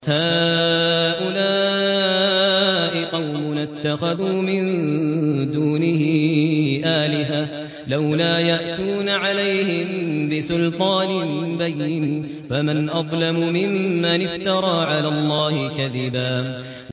هَٰؤُلَاءِ قَوْمُنَا اتَّخَذُوا مِن دُونِهِ آلِهَةً ۖ لَّوْلَا يَأْتُونَ عَلَيْهِم بِسُلْطَانٍ بَيِّنٍ ۖ فَمَنْ أَظْلَمُ مِمَّنِ افْتَرَىٰ عَلَى اللَّهِ كَذِبًا